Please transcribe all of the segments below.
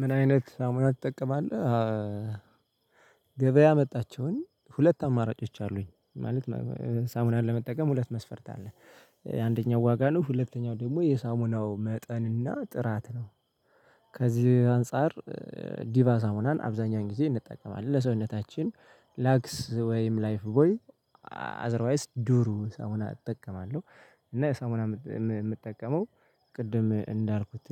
ምን አይነት ሳሙና ትጠቀማለህ? ገበያ ያመጣቸውን ሁለት አማራጮች አሉኝ ማለት ሳሙናን ለመጠቀም ሁለት መስፈርት አለ አንደኛው ዋጋ ነው ሁለተኛው ደግሞ የሳሙናው መጠንና ጥራት ነው። ከዚህ አንፃር ዲቫ ሳሙናን አብዛኛውን ጊዜ እንጠቀማለን ለሰውነታችን ላክስ ወይም ላይፍ ቦይ አዘርዋይስ ዱሩ ሳሙና እጠቀማለሁ። እና የሳሙና የምጠቀመው ቅድም እንዳልኩት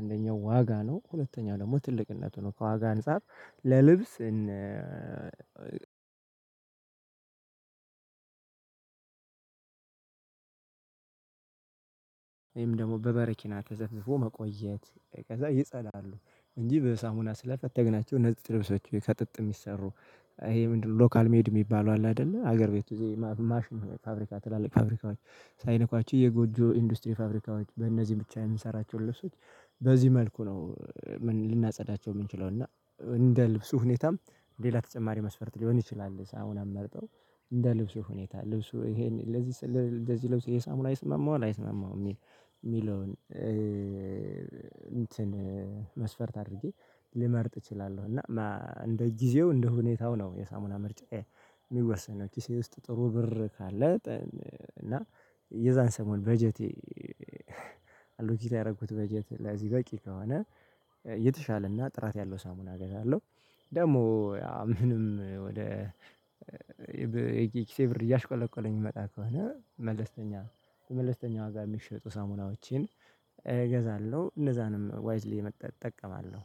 እንደኛው ዋጋ ነው ሁለተኛው ደግሞ ትልቅነቱ ነው። ከዋጋ አንፃር ለልብስ እና። እኔም ደግሞ በበረኪና ተዘፍዝፎ መቆየት ከዛ ይጸዳሉ እንጂ በሳሙና ስለፈተግናቸው ንጽጽ ልብሶች ቤት ከጥጥ የሚሰሩ። ይሄ ምንድነው? ሎካል ሜድ የሚባሉ አለ አይደለ ሀገር ቤቱ ይዘው ማሽን ፋብሪካ ትላልቅ ፋብሪካዎች ሳይነኳቸው የጎጆ ኢንዱስትሪ ፋብሪካዎች በእነዚህ ብቻ የምንሰራቸው ለሰዎች በዚህ መልኩ ነው። ምን ልናጸዳቸው የምንችለው እና እንደ ልብሱ ሁኔታም ሌላ ተጨማሪ መስፈርት ሊሆን ይችላል። ሳሙና መርጠው እንደ ልብሱ ሁኔታ ልብሱ ይሄን ለዚህ እንደዚህ ለብት የሳሙራ ይስማማል አይስመማም? የሚለውን እንትን መስፈርት አድርጌ ልመርጥ እችላለሁ። እና እንደ ጊዜው እንደ ሁኔታው ነው የሳሙና ምርጫዬ የሚወሰነው ኪሴ ውስጥ ጥሩ ብር ካለ። እና የዛን ሰሞን በጀቴ አሉት ያደረኩት በጀት ላይ በቂ ከሆነ የተሻለና ጥራት ያለው ሳሙና ገዛለሁ። ደግሞ ምንም ወደ የኪሴ ብር እያሽቆለቆለ የሚመጣ ከሆነ መለስተኛ መለስተኛ ዋጋ የሚሸጡ ሳሙናዎችን እገዛለሁ እነዛንም ዋይዝሊ እጠቀማለሁ።